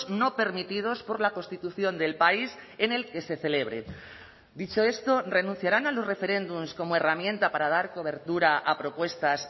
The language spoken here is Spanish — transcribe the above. no permitidos por la constitución del país en el que se celebre dicho esto renunciarán a los referéndums como herramienta para dar cobertura a propuestas